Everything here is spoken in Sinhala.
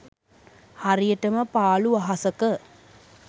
හරියටම පාළු අහසක